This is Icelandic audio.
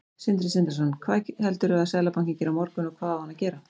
Sindri Sindrason: Hvað heldurðu að Seðlabankinn geri á morgun, og hvað á hann að gera?